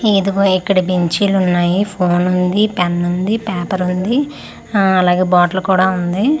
ఇదిగో ఇక్కడ బెంచీలు ఉన్నాయి ఫోన్ ఉంది పెన్ ఉంది ప్యాపర్ ఆ అలాగే బాటిల్ కూడా ఉంది.